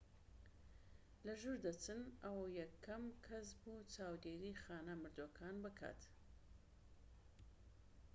لە ژوور دەچن ئەو یەکەم کەس بوو چاودێری خانە مردووەکان بکات